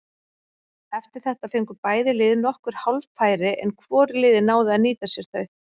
Eftir þetta fengu bæði lið nokkur hálffæri en hvorug liðin náðu að nýta sér þau.